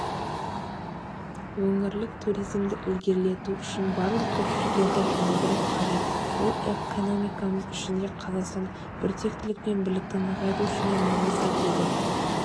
өңірлік туризмді ілгерілету үшін барлық күш-жігерді жұмылдыру қажет бұл экономикамыз үшін де қазақстандық біртектілік пен бірлікті нығайту үшін де маңызды деді